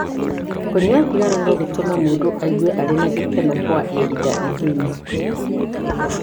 Kũnyua thigara no gũtũme mũndũ aigue arĩ na gĩkeno kwa ihinda inini.